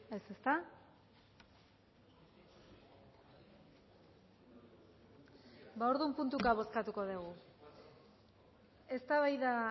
ez ezta ba orduan puntuka bozkatuko dugu eztabaida